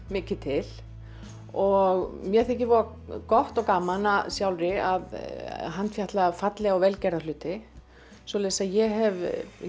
mikið til og mér þykir voða gott og gaman sjálfri að handfjatla fallega og vel gerða hluti svoleiðis að ég hef